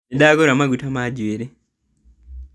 Nĩndagũra maguta ma njuĩrĩ